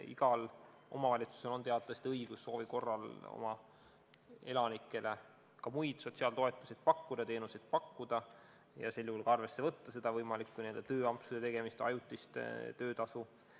Igal omavalitsusel on teatavasti õigus soovi korral oma elanikele ka muid sotsiaaltoetusi ja teenuseid pakkuda ja sel juhul mitte arvesse võtta võimalike tööampsude tegemist, ajutist töötasu.